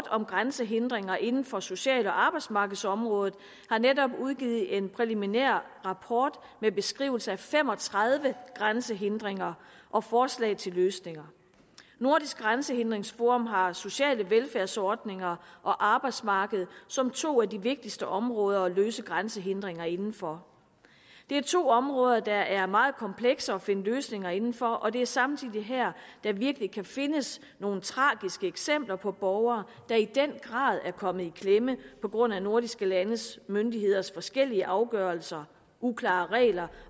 om grænsehindringer inden for social og arbejdsmarkedsområdet har netop udgivet en præliminær rapport med beskrivelser af fem og tredive grænsehindringer og forslag til løsninger nordisk grænsehindringsforum har sociale velfærdsordninger og arbejdsmarkedet som to af de vigtigste områder at løse grænsehindringer indenfor det er to områder der er meget komplekse at finde løsninger indenfor og det er samtidig her der virkelig kan findes nogle tragiske eksempler på borgere der i den grad er kommet i klemme på grund af nordiske landes myndigheders forskellige afgørelser uklare regler